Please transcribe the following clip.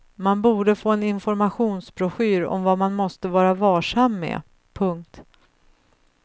Man borde få en informationsbroschyr om vad man måste vara varsam med. punkt